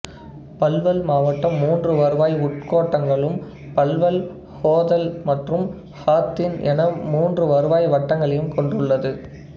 பல்வல் மாவட்டம் மூன்று வருவாய் உட்கோட்டங்களும் பல்வல் ஹொதல் மற்றும் ஹாத்தின் என மூன்று வருவாய் வட்டங்களை கொண்டுள்ளது